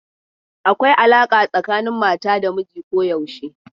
Akwai alaƙa tsakanin mata da miji koyaushe.